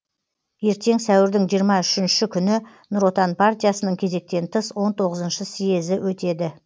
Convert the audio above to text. ертең сәуірдің жиырма үшінші күні нұр отан партиясының кезектен тыс он тоғызыншы съезді өтеді